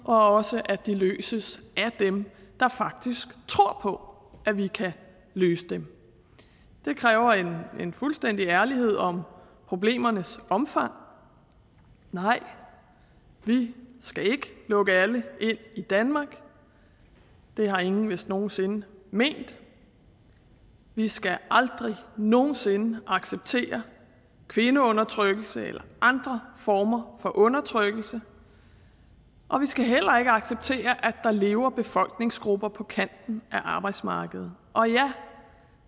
og også at det løses af dem der faktisk tror på at vi kan løse dem det kræver en fuldstændig ærlighed om problemernes omfang nej vi skal ikke lukke alle ind i danmark det har ingen vist nogen sinde ment vi skal aldrig nogen sinde acceptere kvindeundertrykkelse eller andre former for undertrykkelse og vi skal heller ikke acceptere at der lever befolkningsgrupper på kanten af arbejdsmarkedet og ja